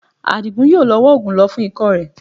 Àdìgún yóò lọ wá oògùn lò fún ikọ́ rẹ